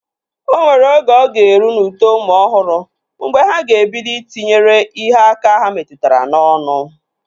O nwere oge ọ ga-eru n'uto ụmụ ọhụrụ mgbe ha ga-ebido Ị tinyere ihe aka ha metụtara n'ọnụ